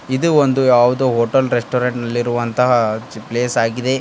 ಇದು ಒಂದು ಯಾವುದೋ ಹೋಟೆಲ್ ರೆಸ್ಟೋರೆಂಟ್ ನಲ್ಲಿ ಇರುವಂತಹ ಪ್ಲೇಸ್ ಆಗಿದೆ.